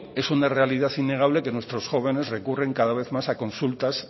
es una realidad innegable que nuestros jóvenes recurren cada vez más a consultas